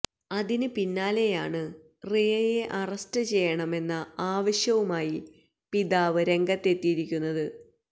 അതിന് പിന്നാലെയാണ് റിയയെ അറസ്റ്റ് ചെയ്യണമെന്ന ആവശ്യവുമായി പിതാവ് രംഗത്തെത്തിയിരിക്കുന്നത്